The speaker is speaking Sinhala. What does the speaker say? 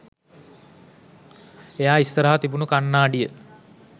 එයා ඉස්සරහා තිබුණු කන්නාඩිය